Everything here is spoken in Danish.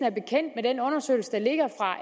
er den undersøgelse der ligger fra